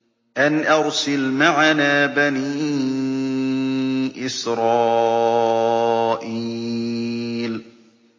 أَنْ أَرْسِلْ مَعَنَا بَنِي إِسْرَائِيلَ